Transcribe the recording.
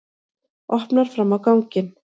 Opnar fram á ganginn.